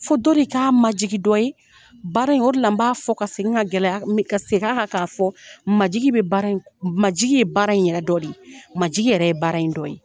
Fo dɔ de k'a majigi dɔ ye, baara in o de la n b'a fɔ ka segin ka gɛlɛya ka segin a kan k'a fɔ, majigi bɛ baara in majigi ye baara yɛrɛ do de ye, majigi yɛrɛ ye baara in dɔ ye.